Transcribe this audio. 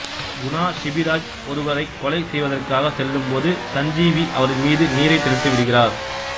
குணா சிபிராஜ் ஒருவரைக் கொலை செய்வதற்காக செல்லும் போது சஞ்சீவி அவரின் மீது நீரைத் தெளித்துவிடுகிறார்